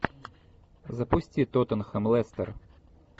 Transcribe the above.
запусти тоттенхэм лестер